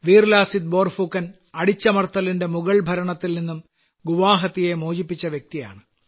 വീർ ലാസിത് ബോർഫുക്കൻ അടിച്ചമർത്തലിന്റെ മുഗൾ ഭരണത്തിൽനിന്നു ഗുവാഹട്ടിയെ മോചിപ്പിച്ച വ്യക്തിയാണ്